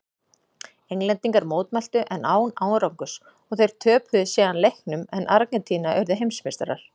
Englendingar mótmæltu en án árangurs og þeir töpuðu síðan leiknum en Argentína urðu heimsmeistarar.